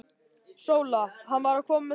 SÓLA: Hann var að koma með þvott.